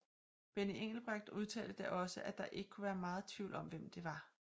Benny Engelbrecht udtalte da også at der ikke kunne være meget tvivl om hvem det var